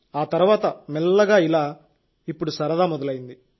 ఆ తర్వాత మెల్లగా ఇలా ఇప్పుడు సరదా మొదలైంది